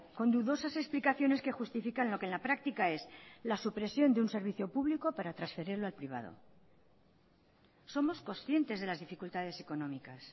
con dudosas explicaciones que justifican lo que en la práctica es la supresión de un servicio público para transferirlo al privado somos conscientes de las dificultades económicas